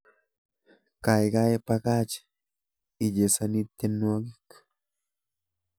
Gaigai bakach ichesani tyendwogik